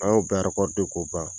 An y'o bɛɛ k'o ban.